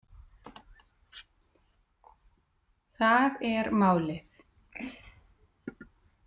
Það er málið